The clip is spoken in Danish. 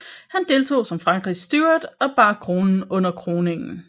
Han deltog som Frankrigs Steward og bar kronen under kroningen